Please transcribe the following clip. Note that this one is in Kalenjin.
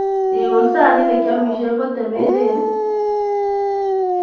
Iun sanit nekeomishen kotemenen i